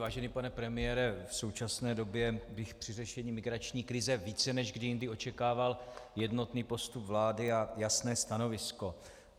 Vážený pane premiére, v současné době bych při řešení migrační krize více než kdy jindy očekával jednotný postup vlády a jasné stanovisko.